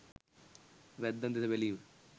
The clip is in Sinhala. වැද්දන් දෙස බැලීම